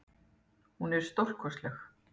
Hún er stórkostleg.